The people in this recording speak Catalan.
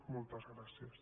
moltes gràcies